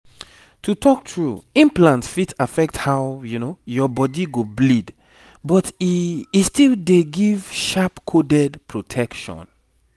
to talk true implant fit affect how your body go bleed but e e still dey give sharp coded protection.